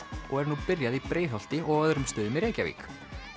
og er nú byrjað í Breiðholti og á öðrum stöðum í Reykjavík